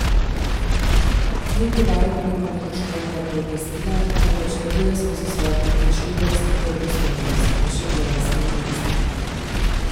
Niti varuh nima prekrškovnega pooblastila, temveč deluje skozi svojo prepričljivost, verodostojnost, je še pojasnil minister.